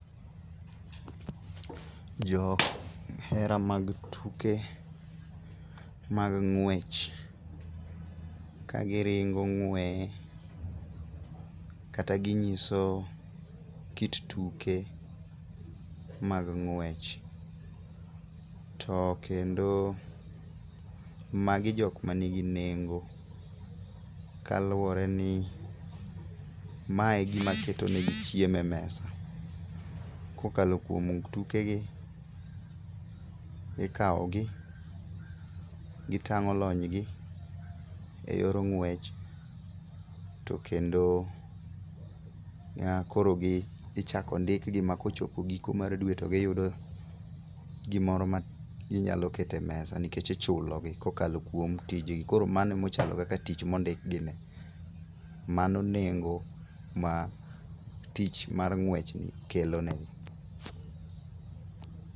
Jo hera mag tuke mag ng'wech, kagiringo ng'weye kata ginyiso kit tuke mag ng'wech, to kendo magi jok manigi nengo kaluwore ni mae e gima keto negi chiemo e mesa. Kokalo kuom tukegi, ikawogi ,gitang'o lonygi e yor ng'wech, to kendo nyaka koro ichako ndikgi ma kochopo giko mar dwe to giyudo gimoro ma ginyalo keto e mesa nikech ichulogi kokalo kuom tijgi. Koro mano emo chalo kaka tich mondik gine, mano nengo ma tich mar ng'wechni kelo negi.